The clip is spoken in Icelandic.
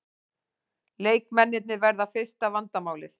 Leikmennirnir verða fyrsta vandamálið